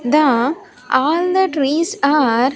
The all the trees are --